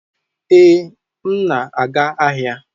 Ee, m na-aga ahịa